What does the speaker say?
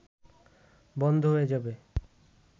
বন্ধ হয়ে যাবে